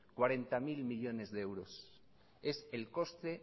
cuarenta mil millónes de euros es el coste